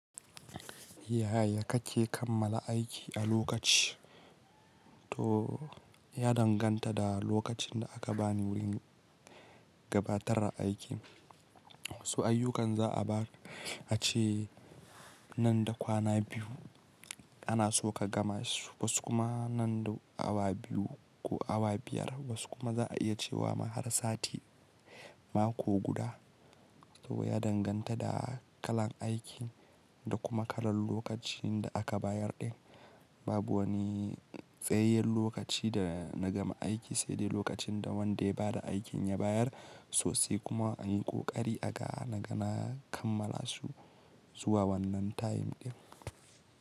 Yaya kake kammala aiki a lokaci? To ya danganta da lokacin da aka bani wurin gabatar aiki. Su ayyukan za a ba a ce nan da kwana biyu ana so ka gama su, wasu kuma nan da awa biyu ko awa biyar, wasu kuma za a iya cewa ma har sati mako guda. To ya danganta da kalan aikin da kuma kalan lokacin da aka bayar ɗin. Babu wani tsayayyen lokaci da na gama aiki, sai dai lokacin da wanda ya bada aikin ya bayar. Sosai kuma anyi ƙoƙari aga na gana kammala su zuwa wannan time ɗin.